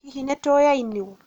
hihi nĩtũyainũo?